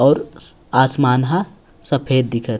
और आसमान ह सफेद दिखत--